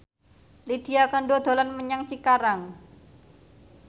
Lydia Kandou dolan menyang Cikarang